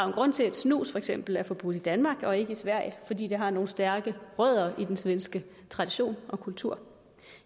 en grund til at snus for eksempel er forbudt i danmark og ikke i sverige fordi det har nogle stærke rødder i den svenske tradition og kultur